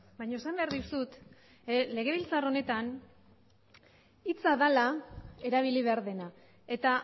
baina esan behar dizut legebiltzar honetan hitza dela erabili behar dena eta